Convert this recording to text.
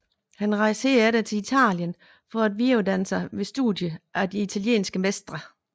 Han rejste herefter til Italien for at videreuddanne sig ved studier af de italienske mestre